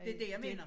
Det dét jeg mener